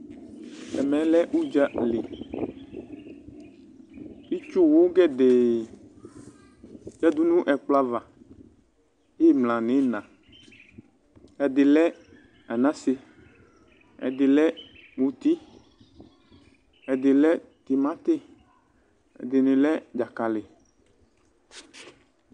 ɛmɛ lɛ uɖzali itsuwu gɛdɛɛ yadu nu ɛkplɔ aƒu ava; Imla nu ina ɛdi lɛ Anase, ɛdi lɛ muti, ɛdi lɛ timati, ɛdini lɛ dzakali